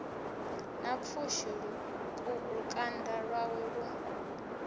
na pfushi lukanda lwawe lu